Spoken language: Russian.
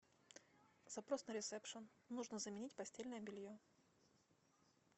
запрос на ресепшн нужно заменить постельное белье